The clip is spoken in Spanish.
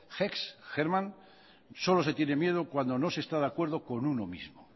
hesse hermann solo se tiene miedo cuando no se está de acuerdo con uno mismo